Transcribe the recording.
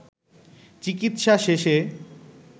চিকিৎসা শেষে